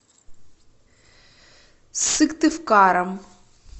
сыктывкаром